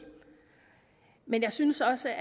men jeg synes også